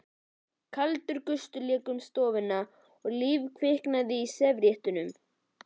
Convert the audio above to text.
Kaldur gustur lék um stofuna svo líf kviknaði í servíettunum.